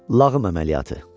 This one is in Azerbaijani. Lağım əməliyyatı.